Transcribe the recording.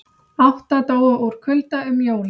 Átta dóu úr kulda um jólin